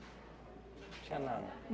Não tinha nada?